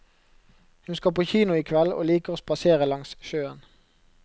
Hun skal på kino i kveld, og liker å spasere langs sjøen.